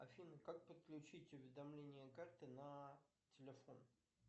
афина как подключить уведомления карты на телефон